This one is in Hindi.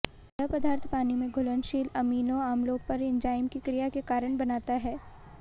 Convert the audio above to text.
यह पदार्थ पानी में घुलनशील अमीनों अम्लों पर इन्जाइम की क्रिया के कारण बनाता है